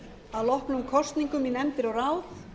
að loknum kosningum í nefndir og ráð